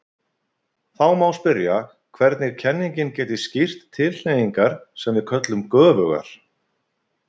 Þá má spyrja hvernig kenningin geti skýrt tilhneigingar sem við köllum göfugar?